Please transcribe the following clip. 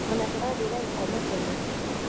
Ona turathire gũkoma tene